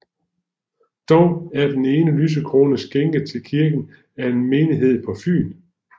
Dog er den ene lysekrone skænket til kirken af en menighed på Fyn